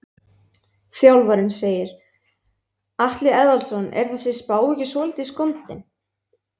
Þjálfarinn segir- Atli Eðvaldsson Er þessi spá ekki svolítið skondin?